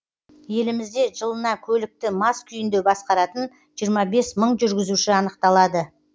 елімізде жылына көлікті мас күйінде басқаратын жиырма бес мың жүргізуші анықталады